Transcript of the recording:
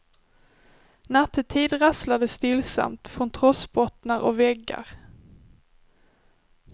Nattetid rasslar det stillsamt från trossbottnar och väggar.